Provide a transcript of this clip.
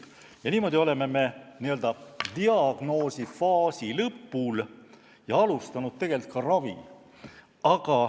Ja niimoodi oleme n-ö diagnoosifaasi lõpus ja alustanud tegelikult ka ravi.